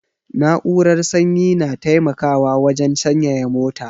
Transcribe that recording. Na'urar sanyi na taimakawa wajan sanyaya mota